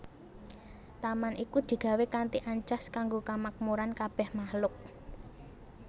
Taman iku digawé kanthi ancas kanggo kamakmuran kabèh makhluk